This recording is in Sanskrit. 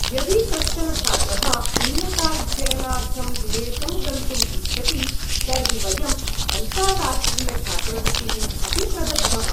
यदि कश्चन छात्रः उन्नताध्ययनार्थं विदेशं गन्तुम् इच्छति तर्हि वयम् अन्ताराष्ट्रियछात्रवृत्तीः अपि प्रदद्मः।